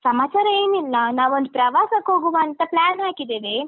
ಸಮಾಚಾರ ಏನಿಲ್ಲ, ನಾವೊಂದು ಪ್ರವಾಸಕ್ಕೋಗುವ ಅಂತ plan ಹಾಕಿದ್ದೇವೆ.